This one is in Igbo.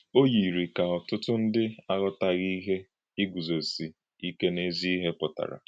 Ó yírí ka ọ̀tùtụ̀ ndí àghọ̀tàghì íhè ígúzósí ìké n’ezi íhè pụtara.